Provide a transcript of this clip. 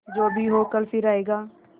जो भी हो कल फिर आएगा